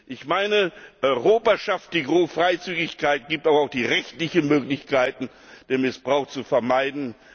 Ich meine, Europa schafft die Freizügigkeit, gibt aber auch die rechtlichen Möglichkeiten, den Missbrauch zu vermeiden.